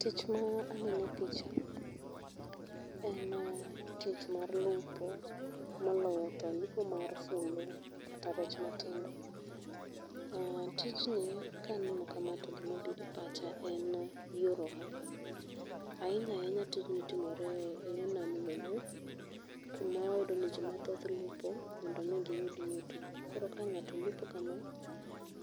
Tich ma aneno e picha en tich mar lupo moloyo to lupo mar fulu kata rech matindo. Aaah, tijni kaneno kama to gima biro e pacha en yor ohala, ahinya ahinya tijni timore e yoo nam lolwe kuma wayudo ni jii mathoth lupo mondo mi giyud yuto. koro ka ng'ato lupo kama,